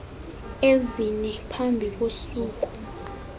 ezine phambi kosuku